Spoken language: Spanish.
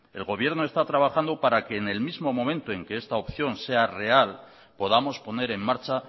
el gobierno está trabajando para que en el mismo momento en que esta opción sea real podamos poner en marcha